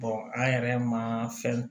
an yɛrɛ ma fɛn